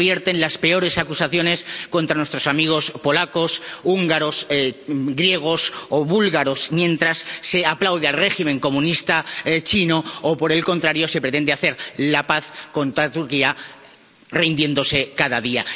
Aquí se vierten las peores acusaciones contra nuestros amigos polacos, húngaros, griegos o búlgaros, mientras se aplaude al régimen comunista chino o, por el contrario, se pretende hacer la paz con Turquía, rindiéndose cada día.